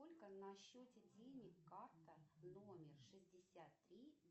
сколько на счете денег карта номер шестьдесят три